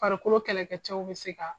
Farikolo kɛlɛ kɛ cɛw bi se ka